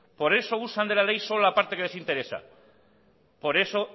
por eso usan de la ley solo la parte que les interesa por eso